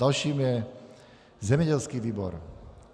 Dalším je zemědělský výbor.